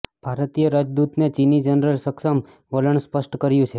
ભારતીય રાજદૂતે ચીની જનરલ સમક્ષ વલણ સ્પષ્ટ કર્યુ છે